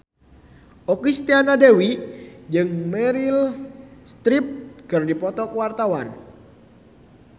Okky Setiana Dewi jeung Meryl Streep keur dipoto ku wartawan